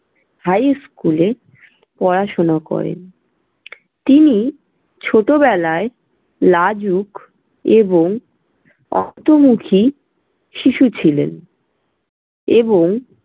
high school এ পড়াশুনো করেন। তিনি ছোটবেলায় লাজুক এবং অন্তর্মুখী শিশু ছিলেন এবং